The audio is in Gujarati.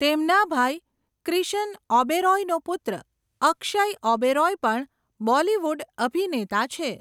તેમના ભાઈ ક્રિશન ઓબેરોયનો પુત્ર અક્ષય ઓબેરોય પણ બોલિવૂડ અભિનેતા છે.